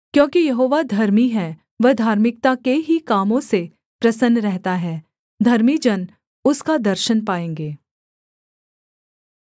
क्योंकि यहोवा धर्मी है वह धार्मिकता के ही कामों से प्रसन्न रहता है धर्मी जन उसका दर्शन पाएँगे